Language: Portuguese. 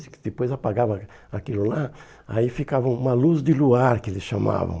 Depois apagava aquilo lá, aí ficava uma luz de luar, que eles chamavam.